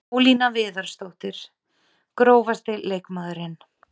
Ólína Viðarsdóttir Grófasti leikmaðurinn?